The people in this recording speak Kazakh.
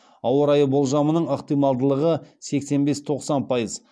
ауа райы болжамының ықтималдылығы сексен бес тоқсан пайыз